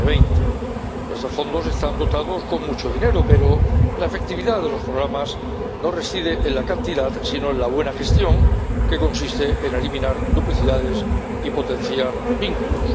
2020. Estos fondos están dotados con mucho dinero, pero la efectividad de los programas no reside en la cantidad sino en la buena gestión, que consiste en eliminar duplicidades y potenciar vínculos.